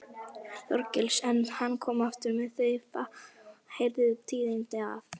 Þorgils, en hann kom aftur með þau fáheyrðu tíðindi að